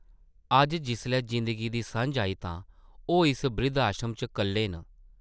अज्ज जिसलै जिंदगी दी सʼञ आई तां ओह् इस ब्रिद्ध-आश्रम च कल्ले न ।